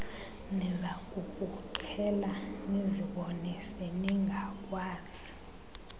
nizakukuqhela nizibone seningakwazi